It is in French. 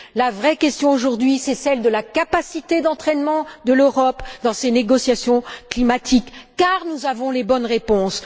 La vraie question, aujourd'hui, c'est celle de la capacité d'entraînement de l'Europe dans ces négociations climatiques, parce que nous avons les bonnes réponses.